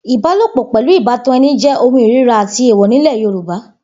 Ìbálòpò̩ pè̩lú ìbátan e̩ni jé̩ ohun ìríra àti èèwò̩ nílè̩ Yorùbá